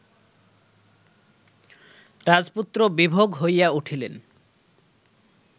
রাজপুত্র বিভোগ হইয়া উঠিলেন